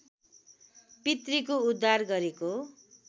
पितृको उद्धार गरेको